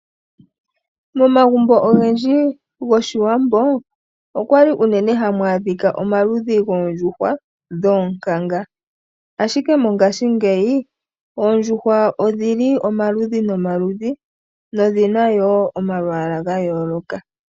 Momagumbo ogendji goshiwambo, okwali unene hamu adhika omaludhi goondjuhwa dhoonkanga. Ashike mongashingeyi, oondjuhwa odhili omaludhi nomaludhi, nodhina yoo omayala ga yooloka.